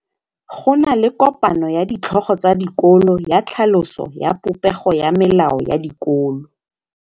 Go na le kopanô ya ditlhogo tsa dikolo ya tlhaloso ya popêgô ya melao ya dikolo.